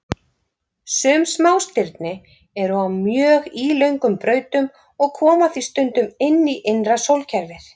Sum smástirni eru á mjög ílöngum brautum og koma því stundum inn í innra sólkerfið.